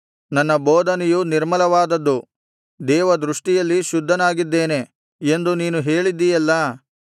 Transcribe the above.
ನನ್ನ ಬೋಧನೆಯು ನಿರ್ಮಲವಾದದ್ದು ದೇವದೃಷ್ಟಿಯಲ್ಲಿ ಶುದ್ಧನಾಗಿದ್ದೇನೆ ಎಂದು ನೀನು ಹೇಳಿದ್ದೀಯಲ್ಲಾ